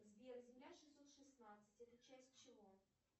сбер земля шестьсот шестнадцать это часть чего